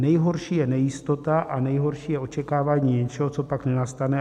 Nejhorší je nejistota a nejhorší je očekávání něčeho, co pak nenastane.